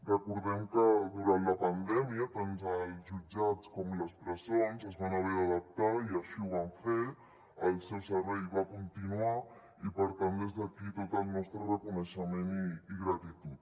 recordem que durant la pandèmia tant els jutjats com les presons es van haver d’adaptar i així ho van fer el seu servei va continuar i per tant des d’aquí tot el nostre reconeixement i gratitud